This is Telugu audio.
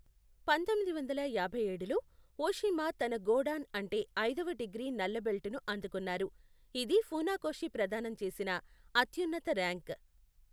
పంతొమ్మిది వందల యాభైఏడులో, ఓషిమా తన గోడాన్ అంటే ఐదవ డిగ్రీ నల్ల బెల్ట్ ను అందుకున్నారు, ఇది ఫునాకోషి ప్రదానం చేసిన అత్యున్నత ర్యాంక్.